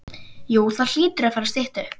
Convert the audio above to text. Jú það hlýtur að fara að stytta upp.